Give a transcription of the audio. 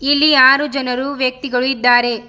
ಇಲ್ಲಿ ಆರು ಜನರು ವ್ಯಕ್ತಿಗಳು ಇದ್ದಾರೆ.